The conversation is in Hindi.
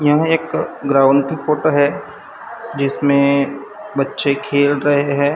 यह एक ग्राउन्ड की फोटो है जिसमें बच्चे खेल रहे हैं।